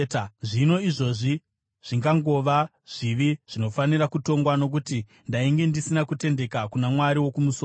zvino izvozviwo zvingangova zvivi zvinofanira kutongwa, nokuti ndainge ndisina kutendeka kuna Mwari wokumusoro.